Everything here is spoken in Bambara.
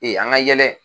an ka yɛlɛ